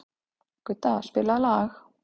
Gudda, spilaðu lag.